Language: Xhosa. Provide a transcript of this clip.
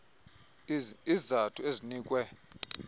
iz izathu ezinikwe